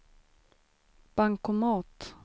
bankomat